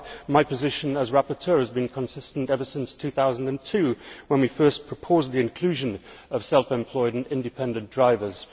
my position as rapporteur has been consistent ever since 2002 when we first proposed the inclusion of self employed and independent drivers.